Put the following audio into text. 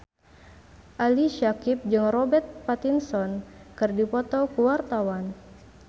Ali Syakieb jeung Robert Pattinson keur dipoto ku wartawan